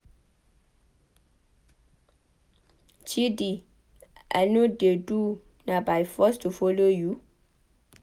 Chidi I no dey do na by force to follow you?